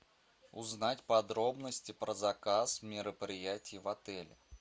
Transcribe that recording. узнать подробности про заказ мероприятий в отеле